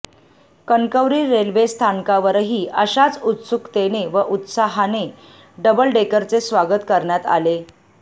Kankavli railway स्थानकावरही अशाच उत्सुकतेने व उत्साहाने डबल डेकरचे स्वागत करण्यात आले